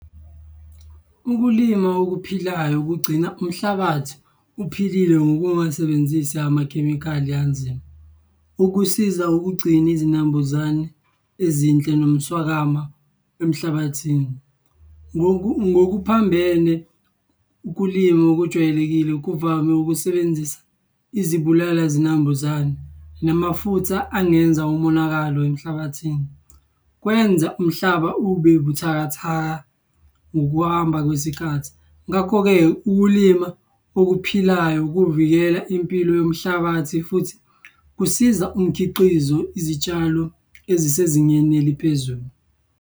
Ukulima okuphilayo kugcina umhlabathi uphilile ngokungasebenzisi amakhemikhali anzima. Ukusiza ukugcina izinambuzane ezinhle nomswakama emhlabathini. Ngokuphambene ukulima okujwayelekile kuvame ukusebenzisa izibulala zinambuzane namafutha angenza umonakalo emhlabathini. Kwenza umhlaba ube buthakathaka ngokuhamba kwesikhathi. Ngakho-ke ukulima okuphilayo kuvikela impilo yomhlabathi futhi kusiza umkhiqizo izitshalo ezisezingeni eliphezulu.